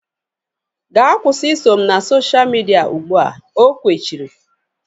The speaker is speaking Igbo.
Gaa kwụsị iso m na sosha midia ụgbụa! O kwechiri